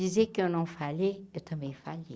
Dizer que eu não falhei, eu também falhei.